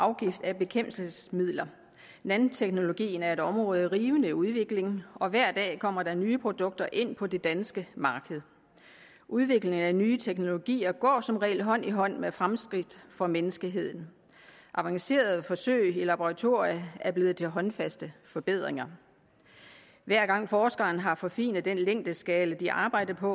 afgift af bekæmpelsesmidler nanoteknologien er et område i rivende udvikling og hver dag kommer der nye produkter ind på det danske marked udviklingen af nye teknologier går som regel hånd i hånd med fremskridt for menneskeheden avancerede forsøg i laboratorier er blevet til håndfaste forbedringer hver gang forskerne har forfinet den længdeskala de arbejder på